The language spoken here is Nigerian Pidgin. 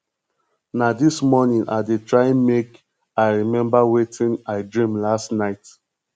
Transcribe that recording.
na dis morning i dey try make i remember wetin i dream last night